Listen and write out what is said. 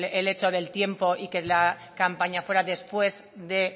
el hecho del tiempo y que la campaña fuera después de